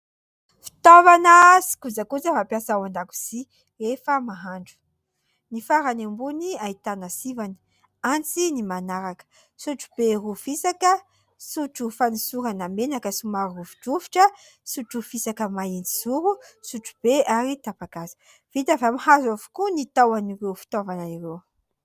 Fitaovana sy kojakoja fampiasa ao an-dakozia rehefa mahandro, ny farany ambony ahitana : sivana, antsy ny manaraka, sotrobe roa fisaka , sotro fanosorana menaka somary rovidrovitra, sotro fisaka mahitsizoro , sotrobe ary tapa-kazo, vita avy amin'ny hazo avokoa ny tahon'ireo fitaovana ireo.